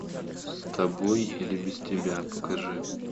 с тобой или без тебя покажи